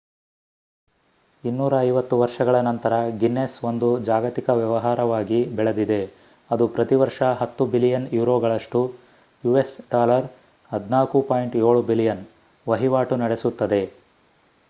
250 ವರ್ಷಗಳ ನಂತರ ಗಿನ್ನೆಸ್ ಒಂದು ಜಾಗತಿಕ ವ್ಯವಹಾರವಾಗಿ ಬೆಳೆದಿದೆ ಅದು ಪ್ರತಿ ವರ್ಷ 10 ಬಿಲಿಯನ್ ಯುರೋಗಳಷ್ಟು us$ 14.7 ಬಿಲಿಯನ್ ವಹಿವಾಟು ನಡೆಸುತ್ತದೆ